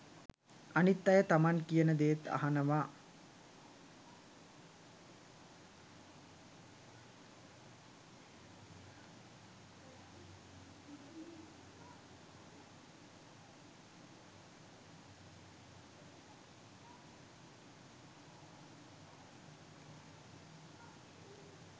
අනිත් අය තමන් කියන දේත් අහනවා.